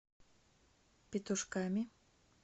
петушками